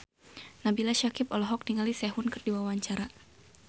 Nabila Syakieb olohok ningali Sehun keur diwawancara